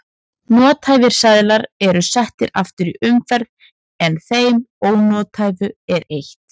Nothæfir seðlar eru settir aftur í umferð en þeim ónothæfu er eytt.